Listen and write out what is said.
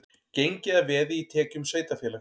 Gengið að veði í tekjum sveitarfélags